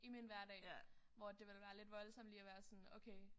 I min hverdag hvor at det ville være lidt voldsomt lige at være sådan okay